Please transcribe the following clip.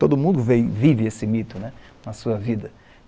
Todo mundo vive esse mito né, na sua vida.